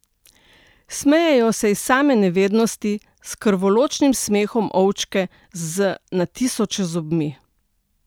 Smejejo se iz same nevednosti, s krvoločnim smehom ovčke z na tisoče zobmi!